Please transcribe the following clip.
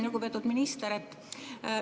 Lugupeetud minister!